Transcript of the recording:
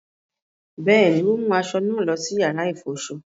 Bẹẹni, o mu aṣọ náà lọ sí yàrá ifọṣọ